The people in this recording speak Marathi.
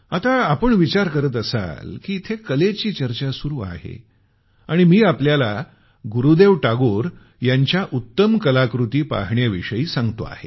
आता आपण विचार करत असाल की इथं कलेची चर्चा सुरु आहे आणि मी आपल्याला गुरुदेव टागोर यांच्या उत्तम कलाकृती पाहण्याविषयी सांगतो आहे